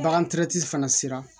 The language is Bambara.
Bagan fana sera